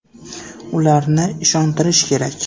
Ularni ishontirish kerak.